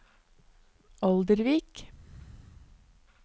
Oldervik